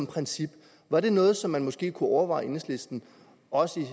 princip var det noget som man måske kunne overveje i enhedslisten også